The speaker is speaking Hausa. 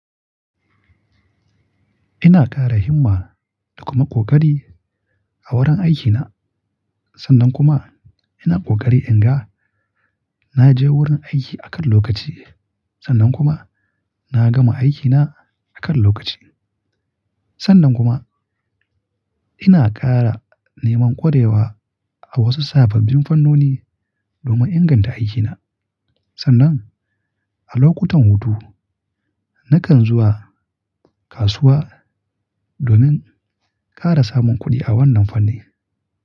Ina ƙara himma da kuma ƙoƙari a wurin aikina. Sannan kuma ina ƙoƙari in ga na je wurin aiki akan lokaci. Sannan kuma na gama aikina akan lokaci. Sannan kuma ina ƙara neman ƙwarewa a wasu sababbin fannoni domin inganta aikina. Sannan a lokutan hutu nakan zuwa kasuwa domin ƙara samun kuɗi a wannan fanni.